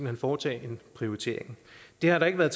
hen foretage en prioritering det har der ikke været